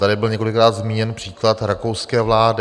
Tady byl několikrát zmíněn příklad rakouské vlády.